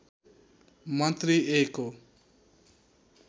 मन्त्री ए को